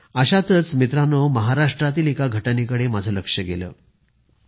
मित्रांनो अशातच महाराष्ट्रातील एका घटनेकडे माझे लक्ष गेले